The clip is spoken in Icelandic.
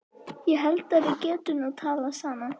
Ég held að við getum nú talað saman!